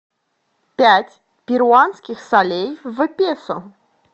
пять перуанских солей в песо